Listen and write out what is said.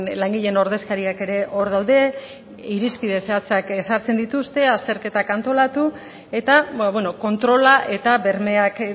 langileen ordezkariak ere hor daude irizpide zehatzak ezartzen dituzte azterketak antolatu eta kontrola eta bermeak